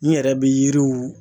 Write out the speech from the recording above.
N yɛrɛ be yiriw